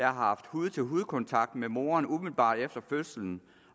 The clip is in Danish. har haft hud til hud kontakt med moderen umiddelbart efter fødslen